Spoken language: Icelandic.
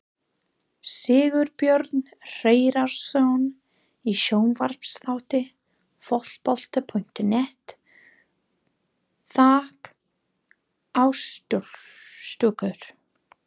Sigurbjörn Hreiðarsson í sjónvarpsþætti Fótbolta.net: Þak á stúkur!?